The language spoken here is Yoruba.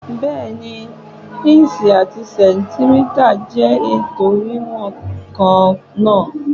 Bẹ́ẹ̀ni, ìǹṣì àti sẹ̀ǹtímítà jẹ́ ètò wíwọ̀n kan náà.